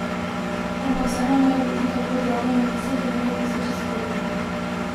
Ampak saj ne more biti tako drago natisniti nekaj tisoč izvodov.